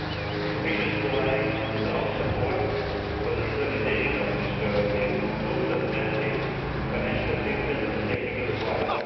The Commission is providing strong support for the implementation of these priorities through substantive financial assistance and technical advice.